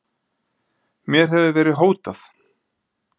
Mér hefur verið hótað